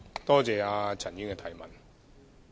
多謝陳議員的提問。